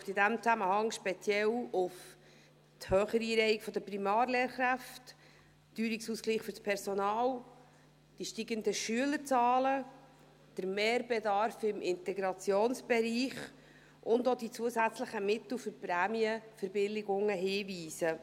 Ich möchte in diesem Zusammenhang speziell auf die höhere Einreihung der Primarlehrkräfte, den Teuerungsausgleich für das Personal, die steigenden Schülerzahlen, den Mehrbedarf im Integrationsbereich und auch auf die zusätzlichen Mittel für Prämienverbilligungen hinweisen.